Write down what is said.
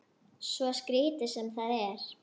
Svo skrítið sem það er.